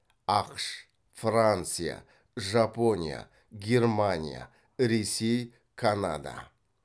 ақш франция жапония германия ресей канада